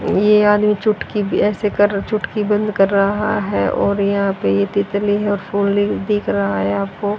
ये आदमी चुटकी भी ऐसे कर चुटकी बंद कर रहा है और यहां पे ये तितली है और फुलें दिख रहा है आपको।